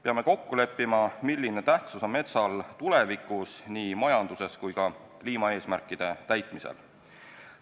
Peame kokku leppima, milline tähtsus on metsal tulevikus nii majanduses kui ka kliimaeesmärkide täitmisel.